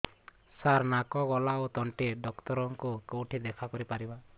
ସାର ନାକ ଗଳା ଓ ତଣ୍ଟି ଡକ୍ଟର ଙ୍କୁ କେଉଁଠି ଦେଖା କରିପାରିବା